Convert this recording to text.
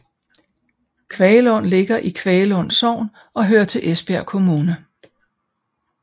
Kvaglund ligger i Kvaglund Sogn og hører til Esbjerg Kommune